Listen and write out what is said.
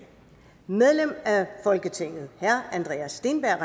medlem af folketinget herre andreas steenberg